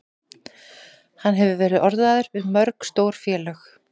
Hann hefur verið orðaður við mörg stór félög.